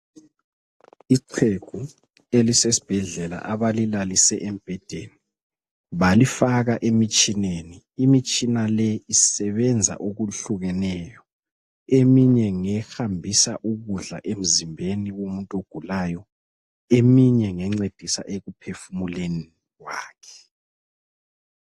Ixhegu elisesibhedlela abalilalise embhedeni balifaka emitshineni. Imitshina le isebenza okuhlukeneyo. Eminye ngehambisa ukudla emzimbeni womuntu ogulayo, eminye ngencedisa ekuphefumuleni kwakhe.